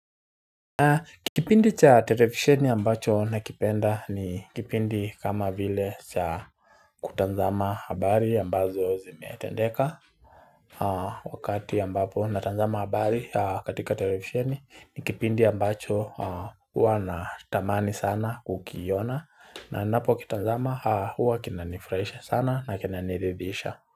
Kipindi cha televisheni ambacho nakipenda ni kipindi kama vile cha kutazama habari ambazo zimetendeka Wakati ambapo natazama habari katika televisheni ni kipindi ambacho hua natamani sana kukiona na ninapo kitazama hua kinanifurahisha sana na kinaniridhisha.